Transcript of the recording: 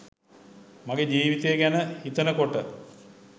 මගේ ජීවිතය ගැන හිතන කොට